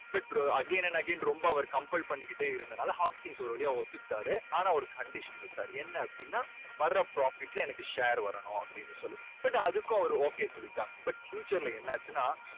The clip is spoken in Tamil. again and again ரொம்ப அவர் compel பண்ணிகிட்டே இருந்ததுனால ஒரு வழியா ஒத்துக்கிட்டாரு ஆனால் ஒரு condition வ்ச்சாரு என்ன அப்படீன்னா வர்ற profit ல எனக்கு share வரணும். அப்படீன்னு சொல்லி but அதுக்கும் அவரு okay சொல்லிட்டாரு. but future ல என்ன ஆச்சுன்னா